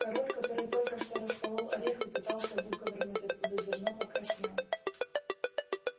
король который только что расколол орех и пытался выковырнуть оттуда зерно покраснел